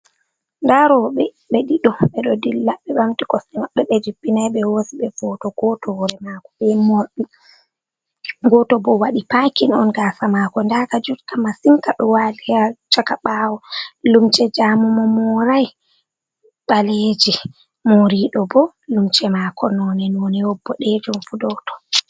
Nda roɓɓe ɓe ɗiɗo ɓe ɗo dilla ɓe ɓamti kosɗe maɓɓe ɓe jippinai ɓe hosi ɓe foto, goto hore mako be morɗi, goto bo waɗi pakin on gasa mako nda ka jutka masin ka ɗo wali ha chaka ɓawo, lumce jamu mo morai ɓaleje, mori ɗo bo lumce mako none none wod bodejum fu ɗo ton.